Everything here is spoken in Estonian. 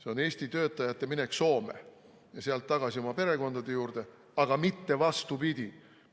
See on Eesti töötajate minek Soome ja sealt tagasi oma perekondade juurde, aga mitte vastupidi.